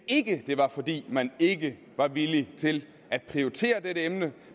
ikke var fordi man ikke var villig til at prioritere dette emne